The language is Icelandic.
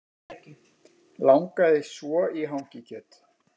Langaði svo í hangikjöt